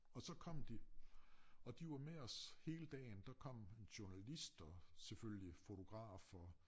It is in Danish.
Og så kom de og de var med os hele dagen der kom en journalist og selvfølgelig fotogtaf og